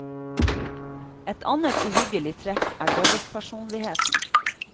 Et annet uhyggelig trekk er dobbeltpersonligheten.